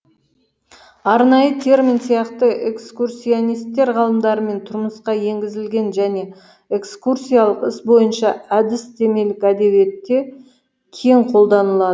арнайы термин сияқты экскурсионисттер ғалымдарымен тұрмысқа енгізілген және экскурсиялық іс бойынша әдістемелік әдебиетте кең қолданыла